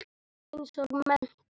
Eins og menntó.